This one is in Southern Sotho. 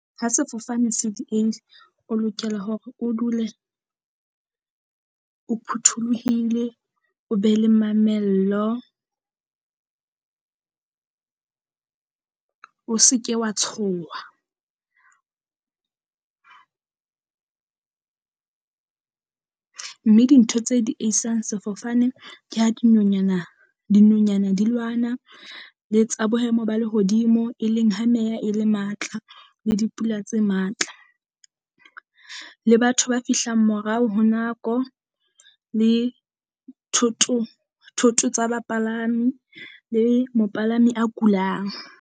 Ha sefofane se dieile, o lokela hore o dule o phuthuluhile, o be le mamello, o se ke wa tshoha. Mme dintho tse dieisang sefofane ke ha dinonyana dinonyana di lwana, le tsa bohemo ba lehodimo e leng ha meya e le matla le dipula tse matla. Le batho ba fihlang morao ho nako, le thoto thoto tsa bapalami le mopalami a kulang.